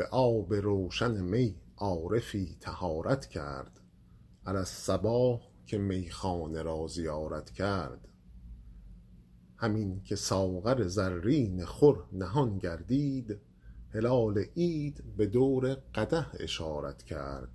به آب روشن می عارفی طهارت کرد علی الصباح که میخانه را زیارت کرد همین که ساغر زرین خور نهان گردید هلال عید به دور قدح اشارت کرد